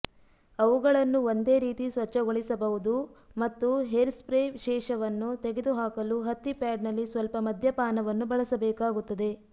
ಅವುಗಳನ್ನು ಒಂದೇ ರೀತಿ ಸ್ವಚ್ಛಗೊಳಿಸಬಹುದು ಮತ್ತು ಹೇರ್ಸ್ಪ್ರೇ ಶೇಷವನ್ನು ತೆಗೆದುಹಾಕಲು ಹತ್ತಿ ಪ್ಯಾಡ್ನಲ್ಲಿ ಸ್ವಲ್ಪ ಮದ್ಯಪಾನವನ್ನು ಬಳಸಬೇಕಾಗುತ್ತದೆ